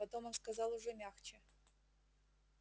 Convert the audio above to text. потом он сказал уже мягче